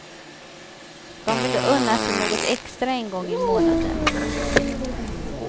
De vill unna sig något extra en gång i månaden.